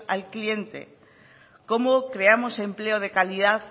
al cliente cómo creamos empleo de calidad